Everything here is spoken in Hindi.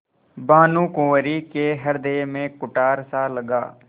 भानुकुँवरि के हृदय में कुठारसा लगा